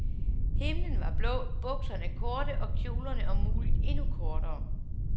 Himlen var blå, bukserne korte, og kjolerne om muligt endnu kortere.